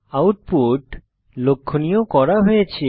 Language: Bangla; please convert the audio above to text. আউটপুট লক্ষনীয় করা হয়েছে